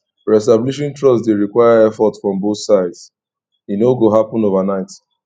reestablishing trust dey require effort from both sides e no go happen overnight